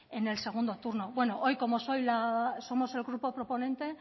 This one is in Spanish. en el segundo turno bueno hoy como somos el grupo proponente